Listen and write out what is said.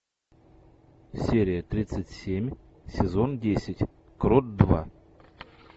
серия тридцать семь сезон десять крот два